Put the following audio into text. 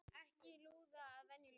Ekki hlúð að venjulegu fólki